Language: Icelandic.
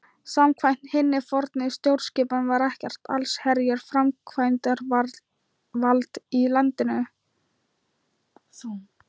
Samkvæmt hinni fornu stjórnskipan var ekkert allsherjar framkvæmdarvald í landinu.